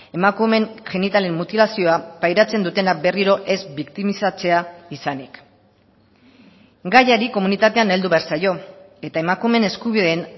emakumeen genitalen mutilazioa pairatzen dutenak berriro ez biktimizatzea izanik gaiari komunitatean heldu behar zaio eta emakumeen eskubideen